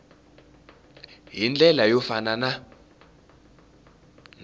hi ndlela yo fana na